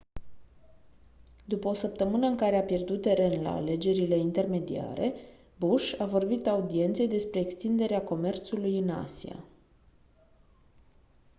după o săptămână în care a pierdut teren la alegerile intermediare bush a vorbit audienței despre extinderea comerțului în asia